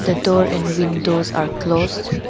the door and windows are closed.